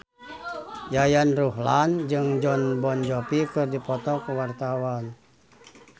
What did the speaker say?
Yayan Ruhlan jeung Jon Bon Jovi keur dipoto ku wartawan